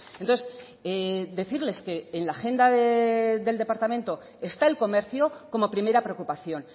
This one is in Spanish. entonces decirles que en la agenda del departamento está el comercio como primera preocupación